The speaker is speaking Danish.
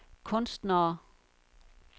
kunstnere